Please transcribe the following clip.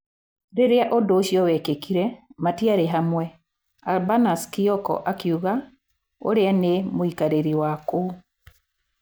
Rĩrĩa ũndũ ũcio wekĩkire, matiarĩ hamwe, Urbanus Kioko akiuga ũrĩa nĩ mũikarĩri wa kũu.